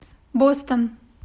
бостон